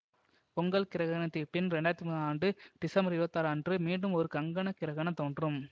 பொங்கல் கிரகணத்திற்ப் பின் இரண்டு ஆயிரத்தி தொன்பதாம் ஆண்டு டிசம்பர் இருபத்தி ஆறு அன்று மீண்டும் ஒரு கங்கணகிரகணம் தோன்றும்